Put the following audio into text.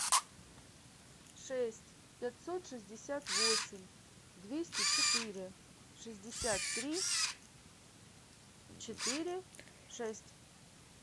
шесть пятьсот шестьдесят восемь двести четыре шестьдесят три четыре шесть